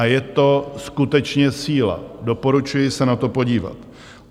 A je to skutečně síla, doporučuji se na to podívat.